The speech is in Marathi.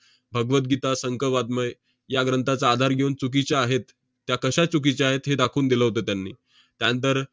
भगवद्गीता, संक वाङ्मय या ग्रंथाचा आधार घेऊन चुकीच्या आहेत, त्या कश्या चुकीच्या आहेत, हे दाखवून दिलं होतं त्यांनी. त्यांतर~